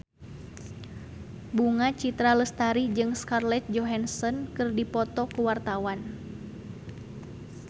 Bunga Citra Lestari jeung Scarlett Johansson keur dipoto ku wartawan